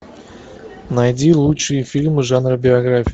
найди лучшие фильмы жанра биография